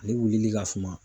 Ale wulili ka suma.